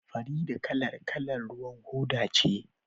Farida kalar kalar ruwan hoda ce